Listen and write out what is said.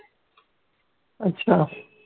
अच्छा.